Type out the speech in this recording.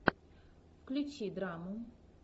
включи драму